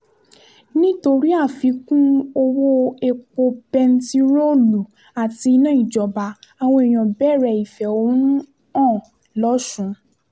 nítorí àfikún owó-èpò bẹntiróòlù àti iná ìjọba àwọn èèyàn bẹ̀rẹ̀ ìfẹ̀hónú hàn lọ́sùn